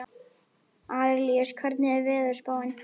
Arilíus, hvernig er veðurspáin?